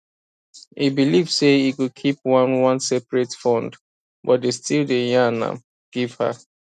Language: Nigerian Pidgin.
e believe say e go keep one one seperate fundbut e still day yan am give her